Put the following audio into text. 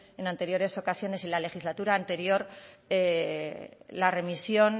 en anteriores ocasiones y en la legislatura anterior la remisión